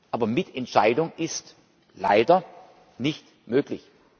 Aber Mitentscheidung ist leider nicht möglich.